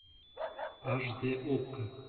аш де окко